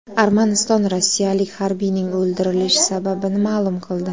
Armaniston rossiyalik harbiyning o‘ldirilish sababini ma’lum qildi.